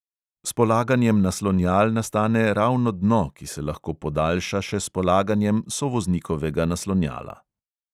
S polaganjem naslonjal nastane ravno dno, ki se lahko podaljša še s polaganjem sovoznikovega naslonjala.